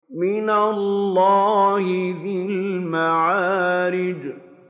مِّنَ اللَّهِ ذِي الْمَعَارِجِ